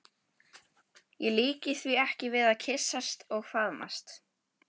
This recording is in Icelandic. Ég líki því ekki við að kyssast og faðmast.